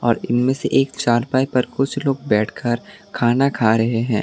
और इनमें से एक कुछ लोग चारपाई पर बैठकर खाना खा रहे हैं।